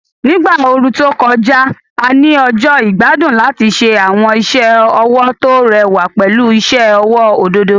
Ní ìgbà ooru tó kọjá, a ní ọjọ́ ìgbádùn láti ṣe àwọn iṣẹ́ ọwọ́ tó rẹwà pẹ̀lú iṣẹ́ ọwọ́ òdòdó.